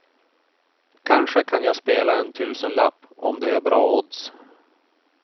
Kanske kan jag spela en tusenlapp om det är bra odds.